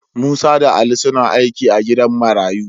Musa da Ali suna aiki a gidan marayu.